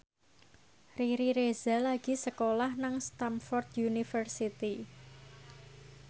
Riri Reza lagi sekolah nang Stamford University